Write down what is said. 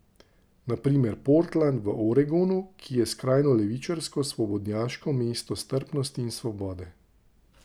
Na primer v Portland v Oregonu, ki je skrajno levičarsko, svobodnjaško mesto strpnosti in svobode.